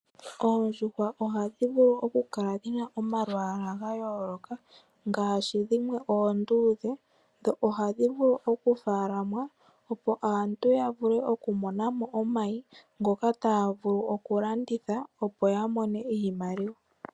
Oondjuhwa ohadhi vulu okukala dhina omalwaala ga yooloka ngaashi dhimwe onduudhe, dho ohadhi vulu okumunwa opo aantu ya vule okumona mo omayi ngoka taya vulu okulanditha opo ya mone iimaliwa.